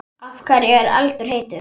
Af hverju er eldur heitur?